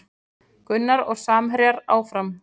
Gunnar og samherjar áfram